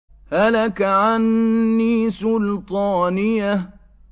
هَلَكَ عَنِّي سُلْطَانِيَهْ